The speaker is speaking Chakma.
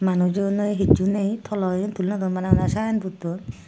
manujo ney hichu ney tolo iyen tuli nw dun bana bana sign board dun.